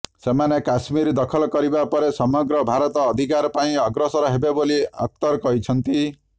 ସେମାନେ କାଶ୍ମୀର ଦଖଲ କରିବା ପରେ ସମଗ୍ର ଭାରତ ଅଧିକାର ପାଇଁ ଅଗ୍ରସର ହେବେ ବୋଲି ଅଖତର କହିଛନ୍ତି